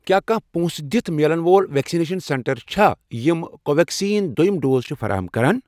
کیٛاہ کانٛہہ پونٛسہٕ دِتھ میلن وول ویکسِنیشن سینٹر چھا یِم کو ویٚکسیٖن دٔیُم ڈوز چھِ فراہَم کران۔